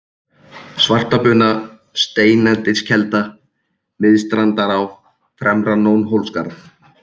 Svartabuna, Steinaneskelda, Miðstrandará, Fremra-Nónhólsskarð